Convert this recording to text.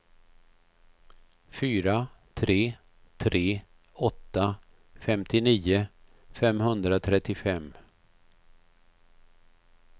fyra tre tre åtta femtionio femhundratrettiofem